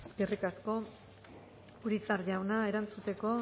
eskerrik asko eskerrik asko urizar jauna erantzuteko